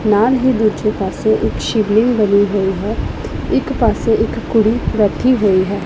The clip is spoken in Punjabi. ਨਾਲ ਹੀ ਦੂਜੇ ਪਾਸੇ ਇੱਕ ਸ਼ਿਵਲਿੰਗ ਬਣੀ ਹੋਈ ਹੈ ਇੱਕ ਪਾਸੇ ਇੱਕ ਕੁੜੀ ਬੈਠੀ ਹੋਈ ਹੈ।